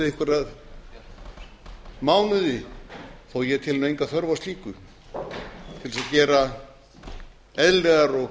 við einhverja mánuði þó ég telji nú enga þörf á slíku til þess að gera eðlilegar og